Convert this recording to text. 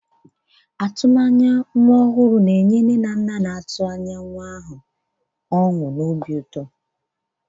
Atụmanya nke ndụ ọhụrụ na-ewetara ndị nne na nna na-atụ anya ọṅụ na obi ụtọ.